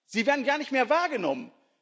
Sie werden gar nicht mehr wahrgenommen.